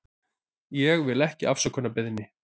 Ég vil ekki afsökunarbeiðni.